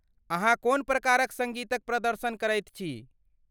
अहाँ कोन प्रकारक सङ्गीतक प्रदर्शन करैत छी?